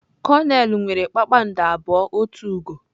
Konel nwere kpakpando abụọ otu ugo.